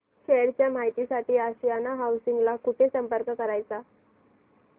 share च्या माहिती साठी आशियाना हाऊसिंग ला कुठे संपर्क करायचा